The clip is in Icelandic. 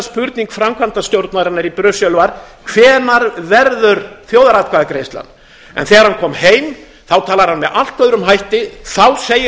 spurning framkvæmdastjórnarinnar í brussel var hvenær verður þjóðaratkvæðagreiðslan þegar hann kom heim talar hann með allt öðrum hætti þá segir